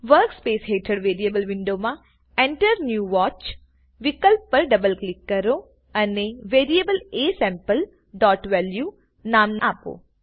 work space હેઠળ variable વિન્ડોમાં Enter new watch વિકલ્પ પર ડબલ ક્લિક કરો અને વેરીએબલ asampleવેલ્યુ નામ આપો